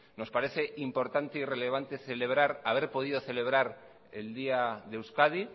nos parece importante y relevante celebrar haber podido celebrar el día de euskadi